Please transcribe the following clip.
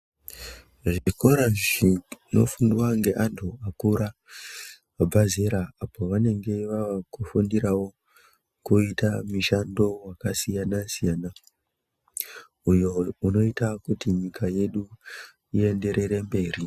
Zvikora zvinofundwa ngeantu vakura vabva zera apo vanenge vavakufundirawo kuita mishando wakasiyana-siyana uyo inoita kuti nyika yedu ienderere mberi.